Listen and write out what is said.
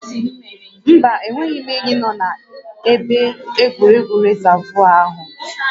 Mba, enweghị ényí nọ na-ebe egwuregwu rịzaavụ áhụ